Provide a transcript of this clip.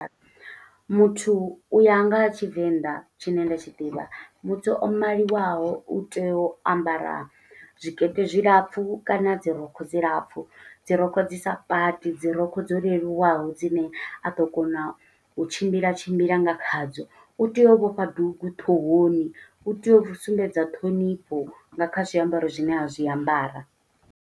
Muthu u ya nga ha tshivenḓa tshine nda tshi ḓivha, muthu o maliwaho u tea u ambara zwikete zwilapfu kana dzi rokho dzi lapfu. Dzi rokho dzi sa paṱi, dzi rokho dzo leluwaho, dzine a ḓo kona u tshimbila tshimbila nga khadzo. U tea u vhofha dugu ṱhohoni, u tea u sumbedza ṱhonifho nga kha zwiambaro zwine a zwiambara.